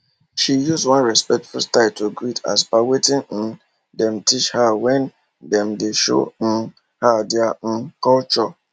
she use one respectful style to greet as per wetin um dem teach her when dem dey show um her their um culture